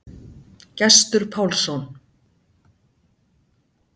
Gestur Pálsson.